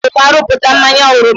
A ga-esite na oroma rụpụta mmanya oroma.